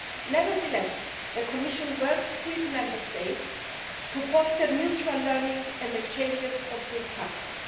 Nevertheless, the Commission works with Member States to foster mutual learning and exchanges of good practice.